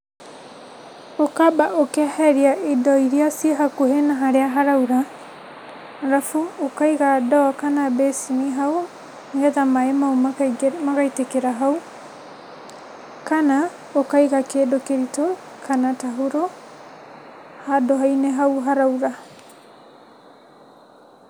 Ũkamba ũkeheria indo iria ciĩ hakuhĩ na harĩa haraura, arabu ũkaiga ndoo kana mbĩcĩni hau, nĩgetha maĩ mau makaingĩ magaitĩkĩra hau, kana, ũkaiga kĩndu kĩritũ kana tauro, handũ-inĩ hau haraura.